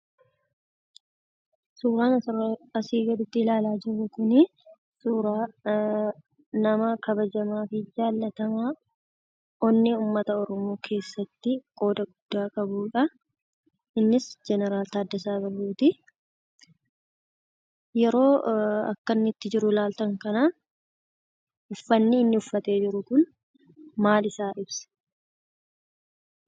Suuraan asii gasitti ilaalaa jirru kunii suuraa nama kabajamaa fi jaallatamaa onnee uummata Oromoo keessatti qooda guddaa kan qabudha. Innis Jeneraal Taaddasaa Birruutii. Yeroo akka inni ittiin jiru ilaaltan kana uffanni inni uffatee jiru kun maal isaa ibsa?